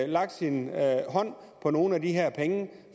lagt sin hånd på nogle af de her penge